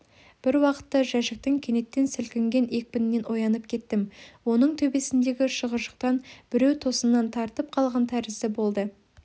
бір уақытта жәшіктің кенеттен сілкінген екпінінен оянып кеттім оның төбесіндегі шығыршықтан біреу тосыннан тартып қалған тәрізді болды